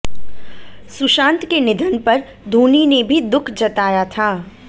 सुशांत के निधन पर धोनी ने भी दुख जताया था